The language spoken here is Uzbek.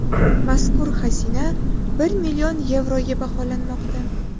Mazkur xazina bir million yevroga baholanmoqda.